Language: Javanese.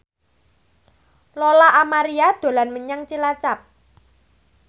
Lola Amaria dolan menyang Cilacap